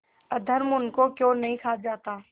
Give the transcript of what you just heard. अधर्म उनको क्यों नहीं खा जाता